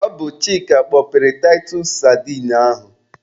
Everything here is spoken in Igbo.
Ọ bụ Chịka kpọpere taịtus sadine ahụ.